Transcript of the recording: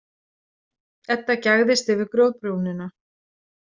Edda gægðist yfir grjótbrúnina.